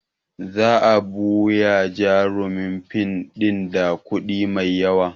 Za a buya jarumin fim ɗin da kuɗi mai yawa